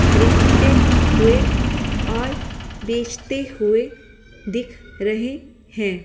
खरीदते हुए और बेचते हुए दिख रहे हैं।